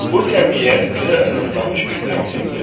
Bu cəmiyyət düzə əsaslanmış bir cəmiyyətdir.